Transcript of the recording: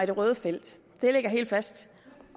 det røde felt